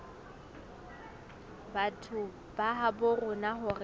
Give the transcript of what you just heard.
batho ba habo rona hore